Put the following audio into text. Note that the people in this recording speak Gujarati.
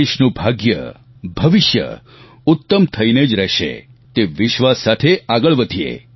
દેશનું ભાગ્યભવિષ્ય ઉત્તમ થઈને જ રહેશે તે વિશ્વાસ સાથે આગળ વધીએ